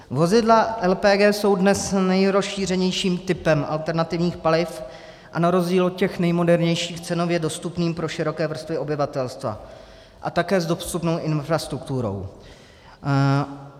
Vozidla LPG jsou dnes nejrozšířenějším typem alternativních paliv a na rozdíl od těch nejmodernějších cenově dostupným pro široké vrstvy obyvatelstva a také s dostupnou infrastrukturou.